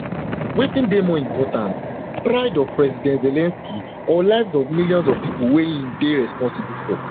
wetin dey more important pride of president zelensky or lives of of millions of pipo wey im dey responsible for